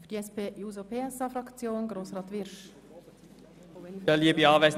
Für die SP-JUSO-PSA-Fraktion hat Grossrat Wyrsch das Wort.